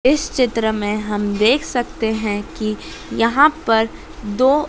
इस चित्र में हम देख सकते हैं कि यहां पर दो--